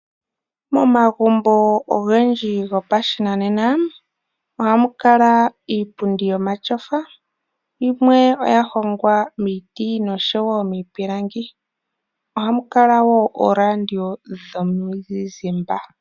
Momagumbo ogendji gopashinanena ohamu kala iipundi yomatyofa. Yimwe oya hongwa miiti noshowo miipilangi. Ohamu kala wo ooradio dhomizizimba.